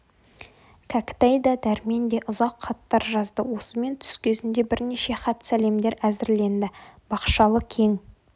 кәкітай да дәрмен де ұзақ хаттар жазды осымен түс кезінде бірнеше хат сәлемдер әзірленді бақшалы кең